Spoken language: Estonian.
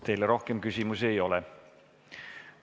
Teile rohkem küsimusi ei ole.